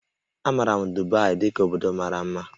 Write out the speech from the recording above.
A maara Dubai dị ka obodo mara mma